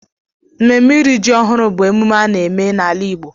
Mmemme iri ji ọhụrụ bụ emume a na-eme n'ala Igbo.